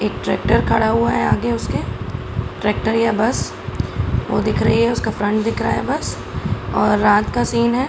एक ट्रेक्टर खड़ा हुआ है आगे उसके ट्रेक्टर या बस वो दिख रही है उसका फ्रंट दिख रहा है बस और रात का सीन है ।